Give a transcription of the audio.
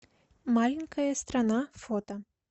маленькая страна фото